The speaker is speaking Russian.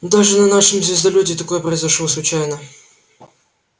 даже на нашем звездолёте такое произошло случайно